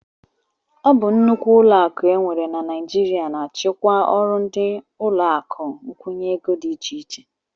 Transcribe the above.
Ọ bụ nnukwu ụlọakụ e nwere na Naijiria na-achịkwa ọrụ ndị ụlọakụ nkwụnye ego dị iche iche